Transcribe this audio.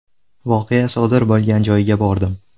Voqea sodir bo‘lgan joyga bordim.